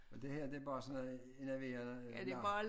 Men det her det bare sådan noget enerverende larm